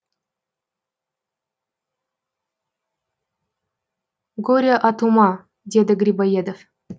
горе от ума деді грибоедов